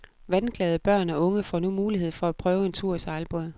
Vandglade børn og unge får nu mulighed for at prøve en tur i sejlbåd.